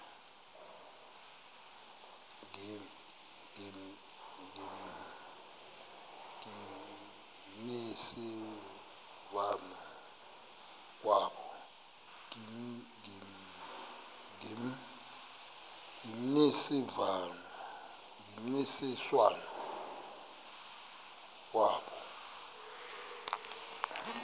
ngemvisiswano r kwabo